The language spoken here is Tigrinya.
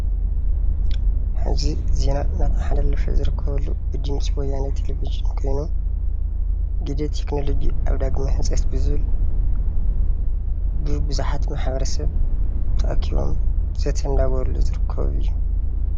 ሐዚ ዜና እናተመሓላለፈ ዝርከበሉ ድምፂ ወያነ ቴሌቪዠን ኮይኑ ግደ ቴክኖሎጂ ኣብ ዳግመ ህንፀት ብዝብል ቡዙሓት ማሕበረሰብ ተኣኪቦም ዘተ እናገበሩሉ ዝርከቡ እዪ።